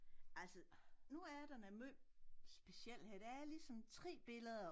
Altså nu er der noget måj specielt her der er lige sådan 3 billeder